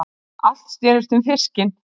Allt snerist um fiskinn.